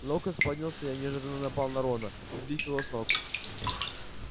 локонс поднялся и неожиданно напал на рона сбив его с ног